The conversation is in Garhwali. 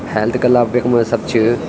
हेल्थ क्लब यख्मा सब च।